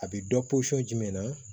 A bɛ dɔ posɔn jumɛn na